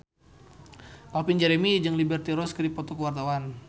Calvin Jeremy jeung Liberty Ross keur dipoto ku wartawan